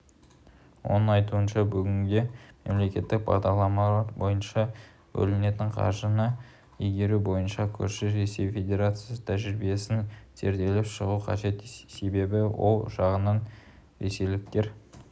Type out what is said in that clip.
оның айтуынша бүгінде мемлекеттік бағдарламалар бойынша бөлінетін қаржыны игеру бойынша көрші ресей федерациясының тәжірибесін зерделеп шығу қажет себебі ол жағынан ресейліктер